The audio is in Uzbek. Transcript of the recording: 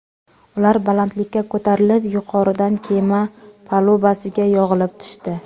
Ular balandlikka ko‘tarilib, yuqoridan kema palubasiga yog‘ilib tushdi.